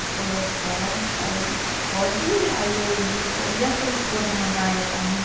Ele falou, posso, aí pode ir, aí eu disse para ele, e a sua esposa não vai achar ruim?